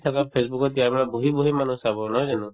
থাকা ফেচবুকত দিয়া মানে বহি বহি মানুহে চাব নহয় জানো